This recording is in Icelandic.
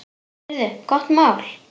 Heyrðu, gott mál.